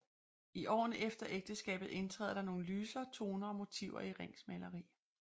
I årene efter ægteskabet indtræder der nogle lysere toner og motiver i Rings maleri